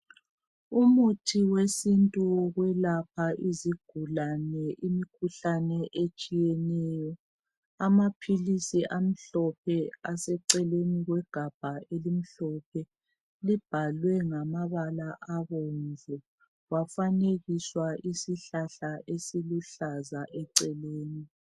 Umuthi wesintu wokulapha izigulane imikhuhlane etshiyeneyo , amaphilisi amhlophe aseceleni kwegabha elimhlophe libhalwe ngamabala abomvu kwafanekiswa isihlahla esiluhlaza eceleni